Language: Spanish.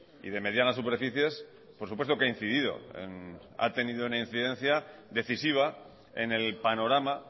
y de medianas superficies por supuesto que ha incidido ha tenido una incidencia decisiva en el panorama